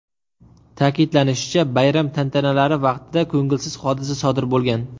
Ta’kidlanishicha, bayram tantanalari vaqtida ko‘ngilsiz hodisa sodir bo‘lgan.